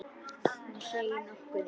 Hún seig nokkuð í.